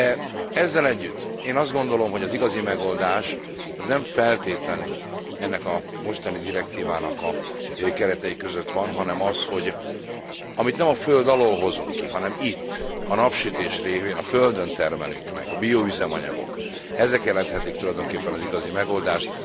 De ezzel együtt én azt gondolom, hogy az igazi megoldás az nem feltétlenül ennek a mostani direktívának a keretei között van, hanem az, hogy amit nem a föld alól hozunk ki, hanem itt a napsütés révén a földön termelünk meg a bioüzemanyagok ezek jelenthetik tulajdonképpen az igazi megoldást.